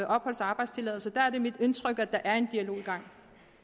opholds og arbejdstilladelse er det mit indtryk at der er en dialog i gang